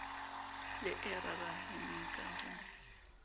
le e raraheneng ka ho